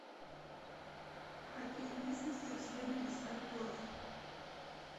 в каких местностях следует искать торф